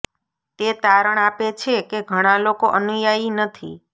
તે તારણ આપે છે કે ઘણા લોકો અનુયાયી નથી